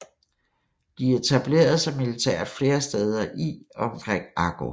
De etablerede sig militært flere steder i og omkring Akko